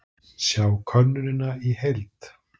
Sjá könnunina í heild